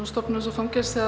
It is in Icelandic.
stofnun eins og fangelsi